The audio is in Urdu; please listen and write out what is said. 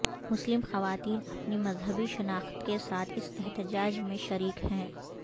مسلم خواتین اپنی مذہبی شناخت کے ساتھ اس احتجاج میں شریک ہیں